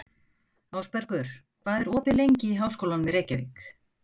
Ásbergur, hvað er opið lengi í Háskólanum í Reykjavík?